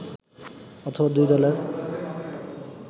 অথবা দুই দলের